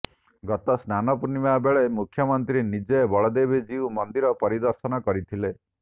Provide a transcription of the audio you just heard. ଗତ ସ୍ନାନ ପୂର୍ଣ୍ଣିମା ବେଳେ ମୁଖ୍ୟମନ୍ତ୍ରୀ ନିଜେ ବଳଦେବଜୀଉ ମନ୍ଦିର ପରିଦର୍ଶନ କରିଥିଲେ